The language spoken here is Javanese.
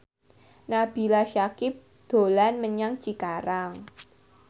Nabila Syakieb dolan menyang Cikarang